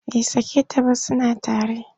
Bai sake ta ba suna tare.